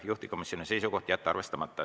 Juhtivkomisjoni seisukoht on jätta arvestamata.